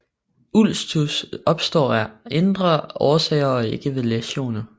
Ulcus opstår af indre årsager og ikke ved læsioner